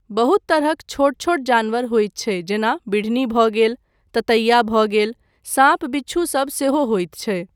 बहुत तरहक छोट छोट जानवर होइत छै जेना बिढ़नी भऽ गेल, ततैया भऽ गेल, साँप बिच्छू सब सेहो होइत छै।